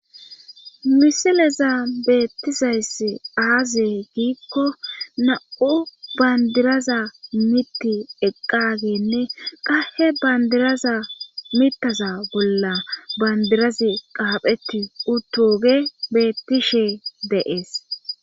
misileza beettizayss aaze giikko na7u bandiraza mitti eqqageenne qahe bandiraza mittaza bolla bandirazi qaapheti uttoge beettishe deees